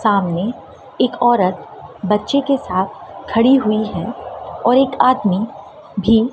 सामने एक औरत बच्चे के साथ खड़ी हुई है और एक आदमी भी--